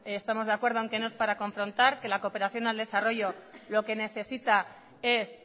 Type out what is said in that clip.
estamos de acuerdo que no es para confrontar que la cooperación al desarrollo lo que necesita es